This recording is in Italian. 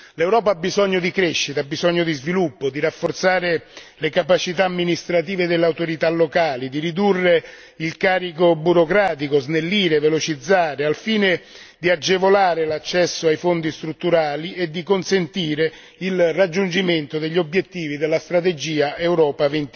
L'Europa ha bisogno di crescita, ha bisogno di sviluppo, di rafforzare le capacità amministrative delle autorità locali, di ridurre il carico burocratico, snellire, velocizzare, al fine di agevolare l'accesso ai Fondi strutturali e di consentire il raggiungimento degli obiettivi della strategia Europa